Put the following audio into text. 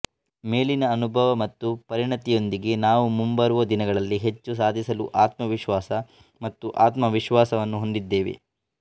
ಮೇಲಿನ ಅನುಭವ ಮತ್ತು ಪರಿಣತಿಯೊಂದಿಗೆ ನಾವು ಮುಂಬರುವ ದಿನಗಳಲ್ಲಿ ಹೆಚ್ಚು ಸಾಧಿಸಲು ಆತ್ಮವಿಶ್ವಾಸ ಮತ್ತು ಆತ್ಮವಿಶ್ವಾಸವನ್ನು ಹೊಂದಿದ್ದೇವೆ